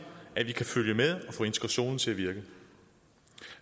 at vi kan følge med og få integrationen til at virke